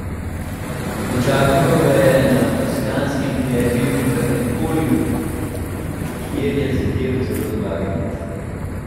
Dočakal ga je na toskanskem derbiju v Empoliju, kjer je zadel celo dvakrat.